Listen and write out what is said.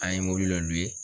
An ye dɔ